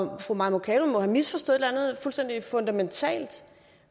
vej fru mai mercado må have misforstået eller andet fuldstændig fundamentalt